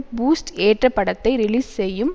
boost ஏற்ற படத்தை release செய்யும்